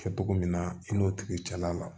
Kɛ cogo min na i n'o tigi cɛla la